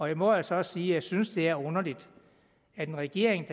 jeg må altså også sige at jeg synes det er underligt hvad regeringen